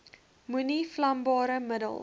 moenie vlambare middels